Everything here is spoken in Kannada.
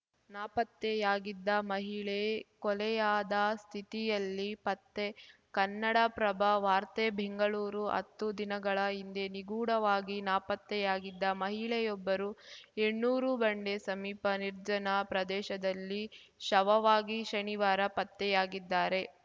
ನಾಪತ್ತೆಯಾಗಿದ್ದ ಮಹಿಳೆ ಕೊಲೆಯಾದ ಸ್ಥಿತಿಯಲ್ಲಿ ಪತ್ತೆ ಕನ್ನಡಪ್ರಭ ವಾರ್ತೆ ಬೆಂಗಳೂರು ಹತ್ತು ದಿನಗಳ ಹಿಂದೆ ನಿಗೂಢವಾಗಿ ನಾಪತ್ತೆಯಾಗಿದ್ದ ಮಹಿಳೆಯೊಬ್ಬರು ಹೆಣ್ಣೂರು ಬಂಡೆ ಸಮೀಪ ನಿರ್ಜನ ಪ್ರದೇಶದಲ್ಲಿ ಶವವಾಗಿ ಶನಿವಾರ ಪತ್ತೆಯಾಗಿದ್ದಾರೆ